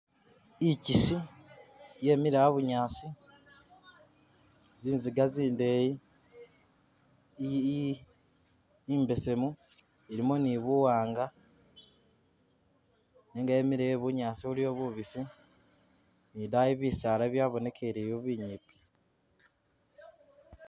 Ikyisi yemile abunyaasi, zizinga zindeyi i imbesemu ilimo ni buwanga nenga yemile e bunyaasi buliwo bubusi ni idayi bisaala byabonekeleyo binyimpi